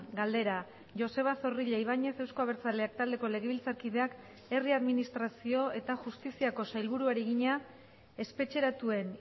galdera joseba zorrilla ibáñez euzko abertzaleak taldeko legebiltzarkideak herri administrazio eta justiziako sailburuari egina espetxeratuen